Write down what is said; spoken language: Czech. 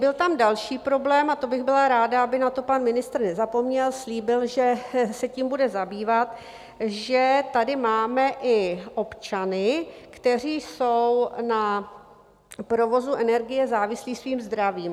Byl tam další problém, a to bych byla ráda, aby na to pan ministr nezapomněl, slíbil, že se tím bude zabývat - že tady máme i občany, kteří jsou na provozu energie závislí svým zdravím.